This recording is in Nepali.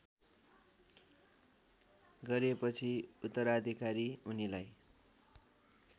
गरिएपछि उत्तराधिकारी उनीलाई